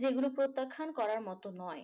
যেগুলো প্রত্যাখ্যান করার মতো নয়